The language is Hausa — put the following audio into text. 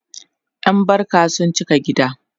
ƴan barka sun cika gida